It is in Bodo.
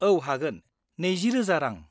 -औ हागोन, 20000 रां।